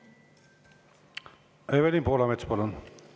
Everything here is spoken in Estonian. Evelin Poolamets, palun!